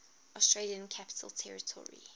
australian capital territory